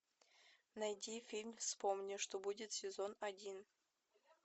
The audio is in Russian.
найди фильм вспомни что будет сезон один